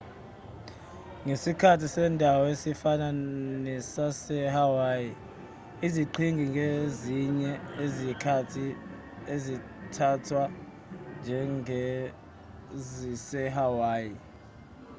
ngesikhathi sendawo esifana nesasehawaii iziqhingi ngezinye izikhathi zithathwa njengezisehawaii